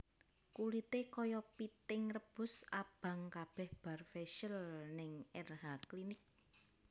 Kulite koyo piting rebus abang kabeh bar facial ning Erha Clinic